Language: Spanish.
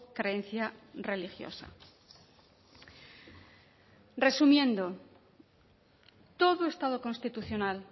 creencia religiosa resumiendo todo estado constitucional